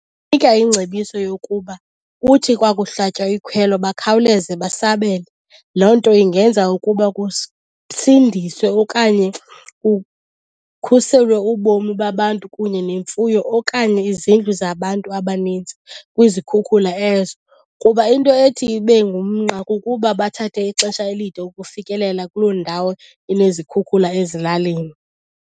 ingcebiso yokuba kuthi kwakuhlatywa ikhwelo bakhawuleze basabele. Loo nto ingenza ukuba kusindiswe okanye kukhuselwe ubomi babantu kunye nemfuyo okanye izindlu zabantu abanintsi kwizikhukhula ezo. Kuba into ethi ibe ngumnqa kukuba bathathe ixesha elide ukufikelela kuloo ndawo inezikhukhula ezilalini.